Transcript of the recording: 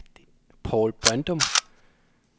Paul Brøndum